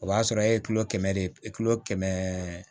O b'a sɔrɔ e ye kilo kɛmɛ de kilo kɛmɛ